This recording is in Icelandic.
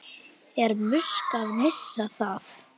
Er Musk að missa það?